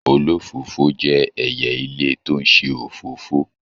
Olófòfò jẹ ẹyẹ ilé tó n ṣe òfófó.